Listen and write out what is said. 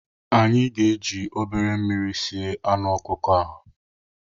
Anyị ga-eji obere mmiri sie anụ ọkụkọ a.